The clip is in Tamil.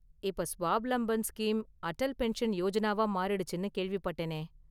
இப்ப ஸ்வாவ்லம்பன் ஸ்கீம் அடல் பென்ஷன் யோஜனாவா மாறிடுச்சுனு கேள்விப்பட்டேனே.